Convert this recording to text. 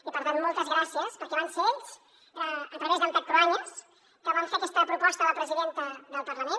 i per tant moltes gràcies perquè van ser ells a través d’en pep cruanyes que van fer aquesta proposta a la presidenta del parlament